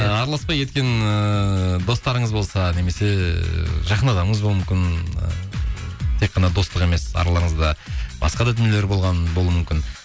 ы араласпай кеткен ыыы достарыңыз болса немесе ы жақын адамыңыз болуы мүмкін ы тек қана достық емес араларыңызда басқа да дүниелер болған болуы мүмкін